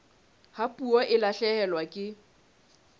ha puo e lahlehelwa ke